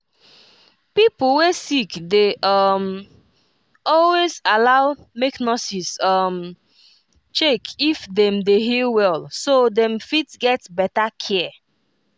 pipo wey sick dey um always allow make nurses um check if dem dey heal well so dem fit get better care